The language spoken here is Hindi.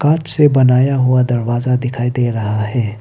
हाथ से बनाया हुआ दरवाजा दिखाई दे रहा है।